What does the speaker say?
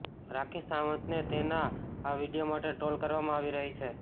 રાખી સાવંતને તેના આ વીડિયો માટે ટ્રોલ કરવામાં આવી રહી છે